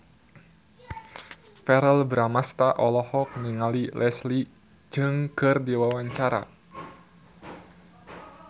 Verrell Bramastra olohok ningali Leslie Cheung keur diwawancara